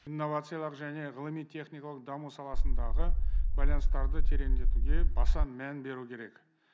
инновациялық және ғылыми техникалық даму саласындағы байланыстарды тереңдетуге баса мән беру керек